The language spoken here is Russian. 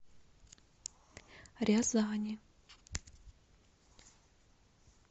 рязани